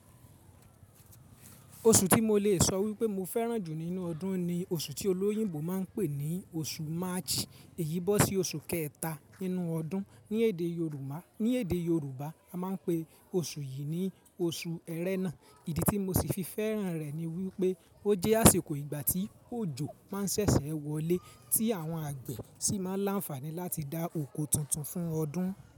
Oṣù tí mo lè sọ wípé mo fẹ́ràn jù nínú ọdún ni oṣù tí olóyìnbó máa ń pè ní oṣù March, èyí bọ́ sí oṣù kẹta nínú ọdún. Ni èdè Yorùbá, a máa ń pè oṣù yìí ní oṣù ẹrẹ́nà. Ìdí tí mo sì fi fẹ́ràn rẹ̀ ni wípé ó jẹ́ àsìkò ìgbà tí òjò máa ń ṣẹ̀ṣẹ̀ wọlé, tí àwọn àgbẹ̀ sì máa ń láǹfààní láti dá oko tuntun fún ọdún.